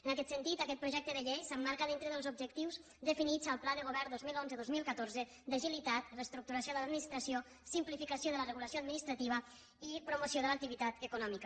en aquest sentit aquest projecte de llei s’emmarca dintre dels objectius definits al pla de govern vint milions cent i dotze mil catorze d’agilitat reestructuració de l’administració simplificació de la regulació administrativa i promoció de l’activitat econòmica